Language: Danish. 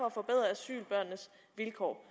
at forbedre asylbørnenes vilkår